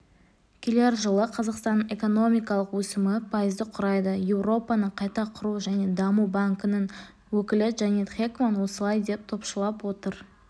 келер жылы қазақстанның экономикалық өсімі пайызды құрайды еуропаның қайта құру және даму банкінің өкілі джанет хекман осылай деп топшылап отыр